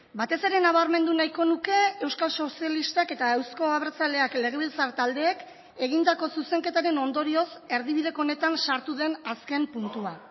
batez ere nabarmendu nahiko nuke euskal sozialistak eta euzko abertzaleak legebiltzar taldeek egindako zuzenketaren ondorioz erdibideko honetan sartu den azken puntua